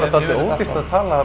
ódýrt að tala